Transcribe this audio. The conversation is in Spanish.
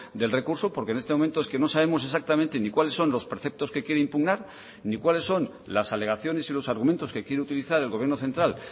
del recurso porque en este momento es que no sabemos exactamente ni cuáles son los preceptos que quiere impugnar ni cuáles son las alegaciones y los argumentos que quiere utilizar el gobierno central